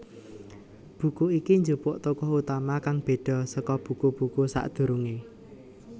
Buku iki njupuk tokoh utama kang béda saka buku buku sadurungé